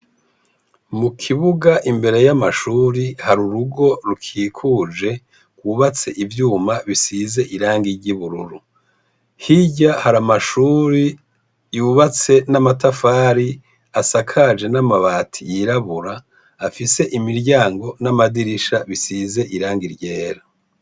Mu kibuga imbere y'amashure hari urugo rukikuje, rwubatse ivyuma bisize irangi ry'ubururu. Hirya hari amashure yubatse n'amatafari asakaje n'amabati yirabura afise imiryango n'amadirisha bisize irangi ryera.